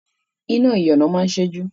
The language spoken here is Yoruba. Iná ìyànà máa ń ṣẹ́jú